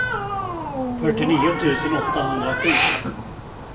fyrtionio tusen åttahundrasju